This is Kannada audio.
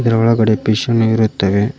ಇದರ ಒಳಗಡೆ ಪಿಶ್ ಅನ್ನು ಇರುತ್ತವೆ.